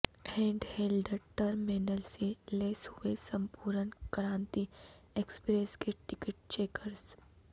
handheld terminal سے لیس ہوئے سمپورن کرانتی ایکسپریس کے ٹکٹ چیکرس